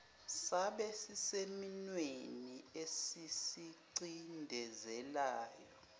sabe sisesimweni esisicindezelayo